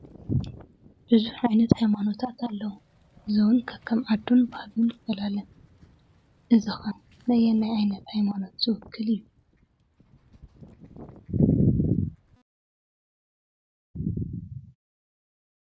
ብዙሕ ዓይነት ሃይማኖታት ኣለዉ፡፡ እዚ እውን ከከም ዓዱን ባህሉን ይፈላለ፡፡ እዚ ኸ ነየናይ ዓይነት ሃይማኖት ዝውክል እዩ?